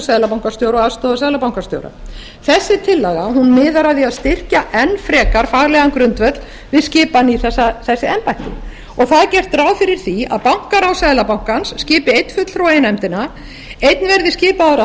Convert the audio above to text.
seðlabankastjóra og aðstoðarseðlabankastjóra þessi tillaga miðar að því að styrkja enn frekar faglegan grundvöll við skipan í þessi embætti og það er gert ráð fyrir því að bankaráð seðlabankans skipi einn fulltrúa í nefndina einn verði skipaður af